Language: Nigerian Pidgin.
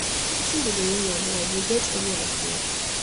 wetin be di meaning of life you get any idea